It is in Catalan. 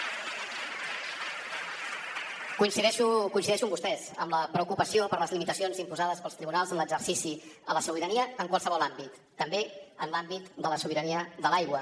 coincideixo amb vostès amb la preocupació per les limitacions imposades pels tribunals en l’exercici de la sobirania en qualsevol àmbit també en l’àmbit de la sobirania de l’aigua